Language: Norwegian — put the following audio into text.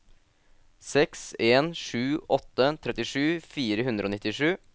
seks en sju åtte trettisju fire hundre og nittisju